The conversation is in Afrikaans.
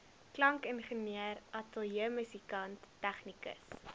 klankingenieur ateljeemusikant tegnikus